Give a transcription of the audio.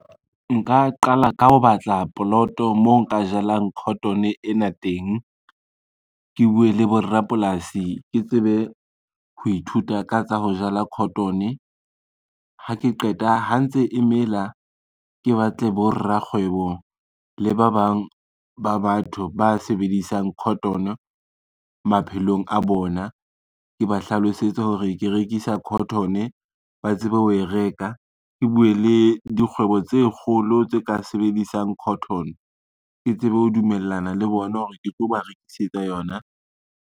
Nka qala ka ho batla poloto moo nka jalang cotton e ena teng, ke bue le borapolasi ke tsebe ho ithuta ka tsa ho jala cotton, ha ke qeta ha ntse e mela, ke batle borakgwebo le ba bang ba batho ba sebedisang cotton maphelong a bona, ke ba hlalosetse hore ke rekisa cotton ba tsebe ho e reka. Ke bue le dikgwebo tse kgolo tse ka sebedisang cotton, ke tsebe ho dumellana le bona hore ke tlo ba rekisetsa yona.